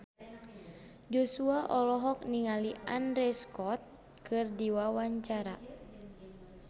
Joshua olohok ningali Andrew Scott keur diwawancara